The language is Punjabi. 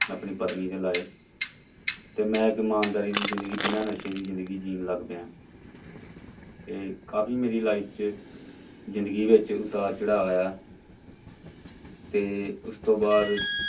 ਆਪਣੀ ਪਤਨੀ ਤੇ ਲਾਏ ਤੇ ਮੈਂ ਇੱਕ ਇਮਾਨਦਾਰੀ ਦੀ ਜ਼ਿੰਦਗੀ ਬਿਨਾਂ ਨਸ਼ੇ ਦੀ ਜ਼ਿੰਦਗੀ ਜਿਉਣ ਲੱਗ ਪਿਆ ਤੇ ਕਾਫ਼ੀ ਮੇਰੀ life ਚ ਜ਼ਿੰਦਗੀ ਵਿੱਚ ਉਤਾਰ ਚੜ੍ਹਾਅ ਆਇਆ ਤੇ ਉਸ ਤੋਂ ਬਾਅਦ